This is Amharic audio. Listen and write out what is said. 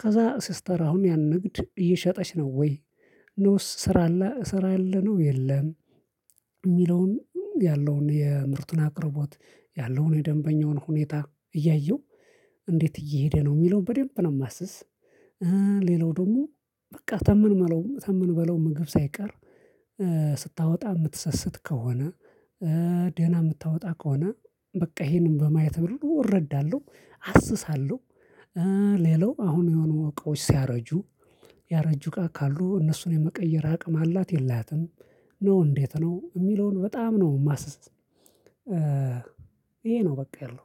ከዛ ስስተር አሁን ያን ንግድ እየሸጠች ነው ወይ ነውስ ስራ ስራ የለነው የለም? የሚለውን ያለውን የምርቱን አቅርቦት ያለውን የደንበኛውን ሁኔታ እያየው። እንዴት እየሄደ ነው የሚለውን በደንብ ነው የማስስ። ሌላው ደግሞ በቃ ተመንበለው ምግብ ሳይቀር ስታወጣ የምትሰስት ከሆነ። ደህና የምታወጣ ከሆነ በቃ ይሄንን በማየት ብር እረዳለሁ አስሳለሁ። ሌላው አሁን የሆነ እቃዎች ሲያረጁ ያረጁ እቃ ካሉ እነሱን የመቀየር አቅም አላት የላትም? ነው እንዴት ነው የሚለውን በጣም ነው የማስስ። ይሄ ነው በቃ ያለው